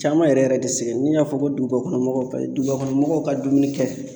Caman yɛrɛ yɛrɛ de n'i y'a fɔ ko duguba kɔnɔ mɔgɔw paseke dugubakɔnɔmɔgɔw ka dumuni kɛ